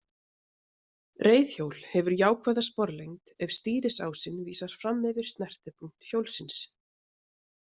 Reiðhjól hefur jákvæða sporlengd ef stýrisásinn vísar fram fyrir snertipunkt hjólsins.